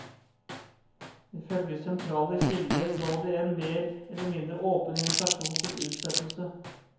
Ifølge sentrale kilder lå det en mer eller mindre åpen invitasjon til utsettelse.